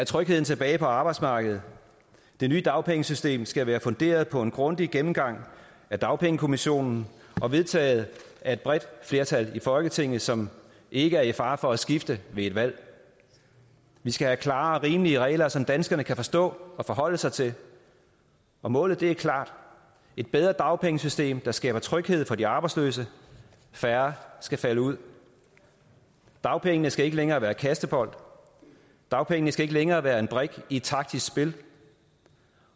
trygheden tilbage på arbejdsmarkedet det nye dagpengesystem skal være funderet på en grundig gennemgang af dagpengekommissionen og vedtaget af et bredt flertal i folketinget som ikke er i fare for at skifte ved et valg vi skal have klare og rimelige regler som danskerne kan forstå og forholde sig til og målet er klart et bedre dagpengesystem der skaber tryghed for de arbejdsløse færre skal falde ud dagpengene skal ikke længere være kastebold dagpengene skal ikke længere være en brik i et taktisk spil